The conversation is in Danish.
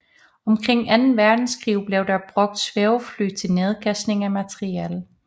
Omkring anden verdenskrig blev der brugt svævefly til nedkastning af materiel